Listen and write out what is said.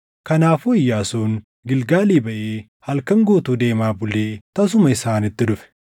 Kanaafuu Iyyaasuun Gilgaalii baʼee halkan guutuu deemaa bulee tasuma isaanitti dhufe.